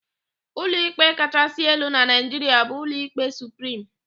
Ụlọikpe kachaasị elu na Naịjiria bụ Ụlọikpe Suprim.